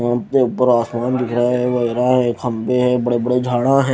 Bank के ऊपर आसमान दिख रहा है बजरा है खंभे हैं बड़े बड़े झाड़ा हैं।